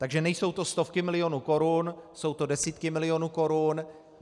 Takže nejsou to stovky milionů korun, jsou to desítky milionů korun.